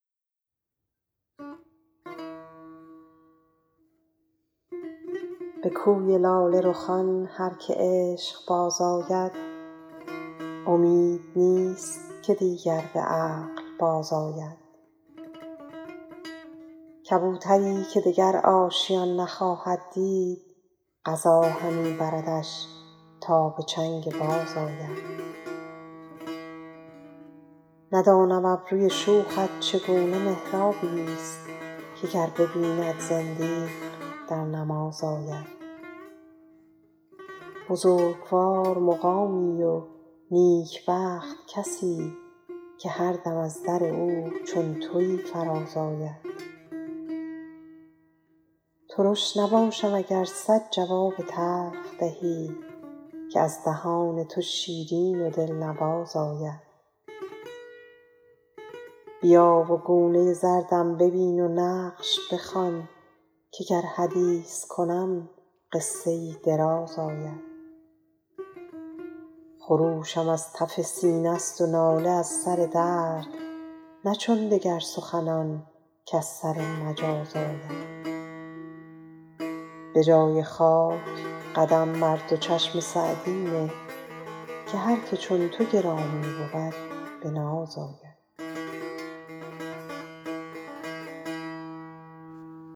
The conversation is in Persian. به کوی لاله رخان هر که عشق باز آید امید نیست که دیگر به عقل بازآید کبوتری که دگر آشیان نخواهد دید قضا همی بردش تا به چنگ باز آید ندانم ابروی شوخت چگونه محرابی ست که گر ببیند زندیق در نماز آید بزرگوار مقامی و نیکبخت کسی که هر دم از در او چون تویی فراز آید ترش نباشم اگر صد جواب تلخ دهی که از دهان تو شیرین و دلنواز آید بیا و گونه زردم ببین و نقش بخوان که گر حدیث کنم قصه ای دراز آید خروشم از تف سینه ست و ناله از سر درد نه چون دگر سخنان کز سر مجاز آید به جای خاک قدم بر دو چشم سعدی نه که هر که چون تو گرامی بود به ناز آید